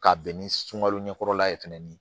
Ka bɛn ni sunkalo ɲɛkɔrɔla ye fɛnɛ